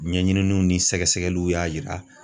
Ɲɛɲininiw ni sɛgɛsɛgɛliw y'a yira